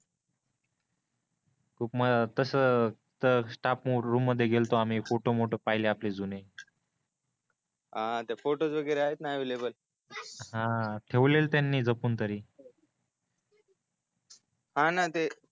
खूप म तस तर स्टाफ रूम मध्ये गेल्तो आम्ही फोटो मोटो पहिले आम्ही आपले जुने आपले फोटोस वगैरे अवैलाबल हा ठेवलेले त्यांनी जपून तरी हाना ते.